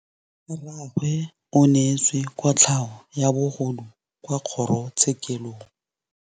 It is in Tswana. Rragwe o neetswe kotlhaô ya bogodu kwa kgoro tshêkêlông.